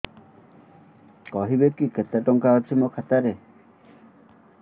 କହିବେକି କେତେ ଟଙ୍କା ଅଛି ମୋ ଖାତା ରେ